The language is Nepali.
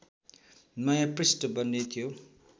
नयाँ पृष्ठ बन्ने थियो